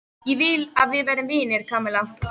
Ég vil að við verðum vinir, Kamilla.